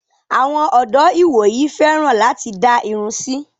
Àwọn ọdọ́ ìwòyìí fẹ́ràn láti dá irun sí.